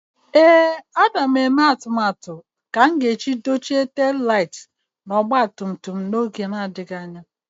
Ee, m na-eme atụmatụ iji dochie ọkụ ọdụdụ na ọgba tum tum m n'oge na-adịghị anya